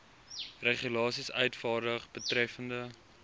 regulasies uitvaardig betreffende